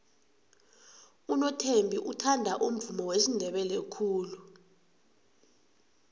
unothembi uthanda umvumo wesindebele khulu